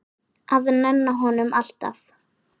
Að nenna honum, alltaf.